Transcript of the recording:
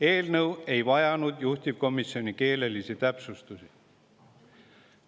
Eelnõu ei vajanud ka juhtivkomisjoni keelelisi täpsustusi.